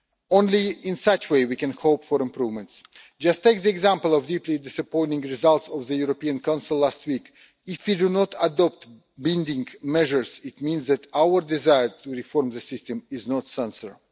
Only in such a way can we hope for improvements. Just take the example of the deeply disappointing results of the European Council last week. If we do not adopt binding measures, it means that our desire to reform the system is not sincere.